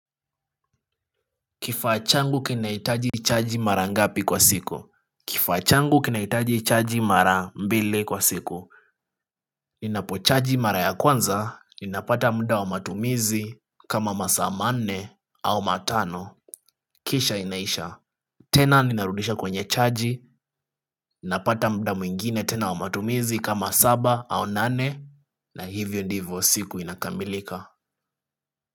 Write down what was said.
Kifaa changu kinaitaji chaji mara ngapi kwa siku. Kifa changu kinaitaji chaaji mara mbili kwa siku. Ninapo chaaji mara ya kwanza ninapata mda wa matumizi kama masa manne au matano. Kisha inaisha. Tena ninarudisha kwenye chaaji. Ninapata mda mwingine tena wa matumizi kama saba au nane. Na hivyo ndivyo siku inakamilika.